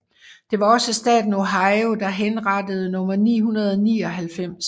Det var også staten Ohio der henrettede nummer 999